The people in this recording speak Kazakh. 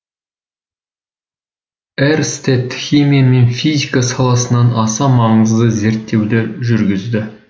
эрстед химия мен физика саласынан аса маңызды зерттеулер жүргізді